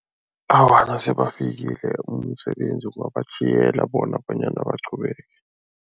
Awa, nasebafikile umsebenzi batjhiyela bona bonyana baqhubeke.